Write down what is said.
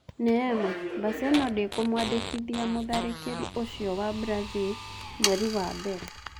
Neema: Baselona ndĩkũmwandĩkithia mũtharĩkĩri ũcio wa Mbrazil mweri wa mbere.